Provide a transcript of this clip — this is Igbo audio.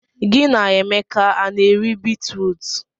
Gị na Emeka a na-eri bitrut?